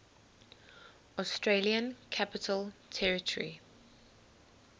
australian capital territory